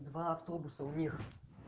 два автобуса у них